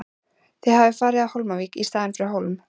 Það hafði farið á Hólmavík í staðinn fyrir Hólm.